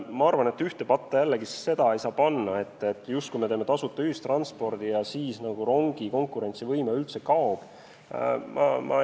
Ma arvan, et ei saa panna ühte patta seda, et kui me teeme tasuta ühistranspordi, siis rongi konkurentsivõime justkui kaob üldse.